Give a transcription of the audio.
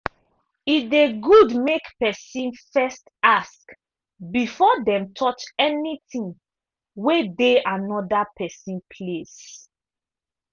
e dey good make pesin first ask before dem touch any ting wey dey anoda pesin place.